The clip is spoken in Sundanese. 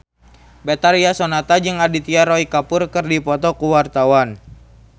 Betharia Sonata jeung Aditya Roy Kapoor keur dipoto ku wartawan